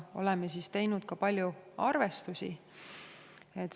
Oleme teinud ka palju arvestusi.